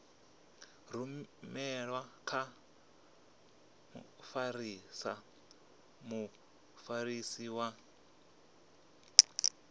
rumelwe kha mfarisa muofisiri wa